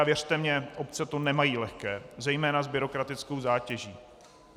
A věřte mně, obce to nemají lehké, zejména s byrokratickou zátěží.